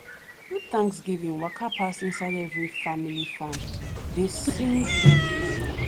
do thanksgiving waka pass inside every family farm dey sing thank you song.